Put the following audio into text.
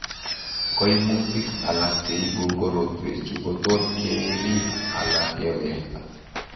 Koimutik alak cheibu korotwechuu kotot keriib ala kewekta